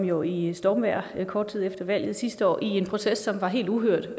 jo i stormvejr kort tid efter valget sidste år i en proces som var helt uhørt